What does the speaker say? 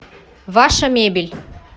ваша мебель